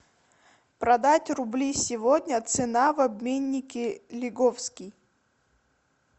продать рубли сегодня цена в обменнике лиговский